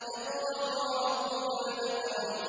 اقْرَأْ وَرَبُّكَ الْأَكْرَمُ